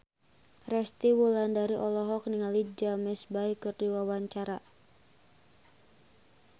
Resty Wulandari olohok ningali James Bay keur diwawancara